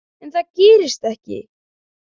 En það gerist ekki.